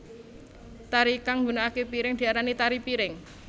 Tari kang nggunakaké piring diarani tari piring